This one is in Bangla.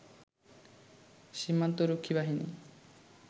সীমান্তরক্ষী বাহিনী